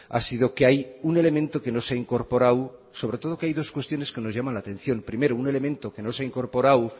ha sido que hay un elemento que no se ha incorporado sobre todo que hay dos cuestiones que nos llaman la atención primero un elemento que no se ha incorporado